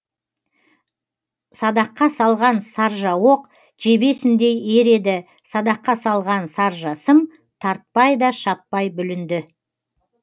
садаққа салған саржа оқ жебесіндей ер еді садаққа салған саржа сым тартпай да шаппай бүлінді